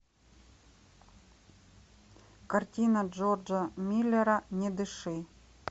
картина джорджа миллера не дыши